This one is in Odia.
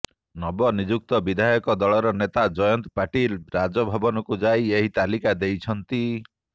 ନବନିଯୁକ୍ତ ବିଧାୟକ ଦଳର ନେତା ଜୟନ୍ତ ପାଟିଲ ରାଜଭବନକୁ ଯାଇ ଏହି ତାଲିକା ଦେଇଛନ୍ତି